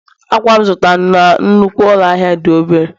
akwa m zụtara na nnukwu ụlọ ahịa dị obere